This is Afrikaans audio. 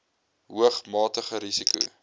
hoog matige risiko